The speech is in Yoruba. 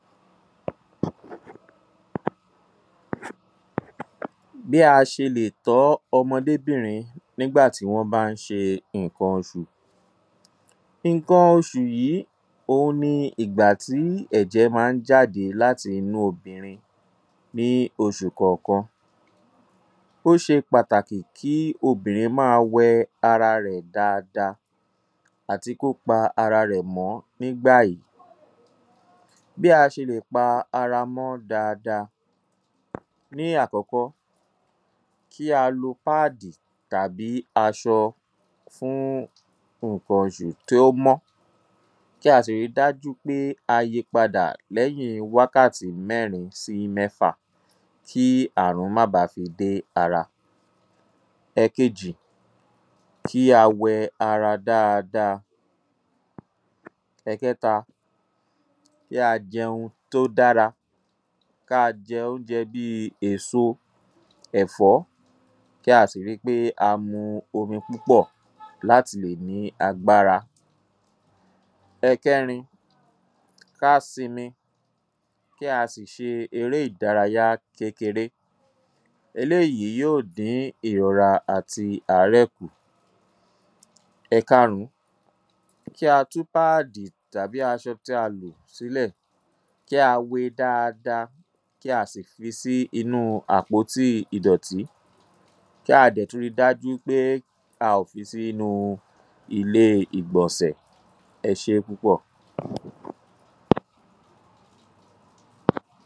﻿BÍ A ṢE LÈ TỌ́ ỌMỌDÉBÌNRIN NÍGBÀ TÍ WỌ́ BÁ Ń ṢE NǸKAN OṢÙ. Nǹkan oṣù yìí ni ìgbà tí ẹ̀jẹ̀ máa ń jáde láti inú obìnrin ní oṣù kọ̀ọ̀kan. Obìnrin yẹn máa wẹ ara rẹ̀ dáadáa kí ó sì pa ara rẹ mọ dáadáa ní ìgbà yìí. Bí A Ṣe Lè Pa Ara Mọ́ Dáadáa. Ní àkọ́kọ́, kí a lo páàdì tàbí aṣọ tí ó mọ́ fún nǹkan oṣù. Kí a sì rí i dájú pé a pààrọ̀ rẹ̀ lẹ́yìn wákàtí mẹ́rin sí mẹ́fà kí àrùn má baà fi dé ara. Ẹ̀kejì, kí a wẹ ara dáadáa. Ẹkẹta, kí a jẹ oúnjẹ tí ó dára. Ó dára láti máa jẹ èso, ẹ̀fọ́. Kí á sì rí i pé a mu omi púpọ̀ láti lè ní agbára. Ẹ̀kẹrin, kí a sinmi, kí á sì ṣe eré ìdárayá kékeré. Eléyìí yóò dín ìrora àti àárẹ̀ kù. Ẹ̀karùn-ún, kí á tú páàdì tàbí aṣọ tí a lò sílẹ̀. Kí a wé e dáadáa, kí a sì jù ú sínú àpótí ìdọ̀tì. Kí á dẹ̀ tún rí i dájú pé a kò sọ ọ́ sínú ilé ìgbọ̀nsẹ̀.